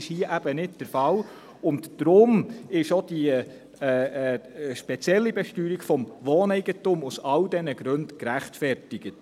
Das ist hier eben nicht der Fall, und daher ist auch diese spezielle Besteuerung des Wohneigentums aus all diesen Gründen gerechtfertigt.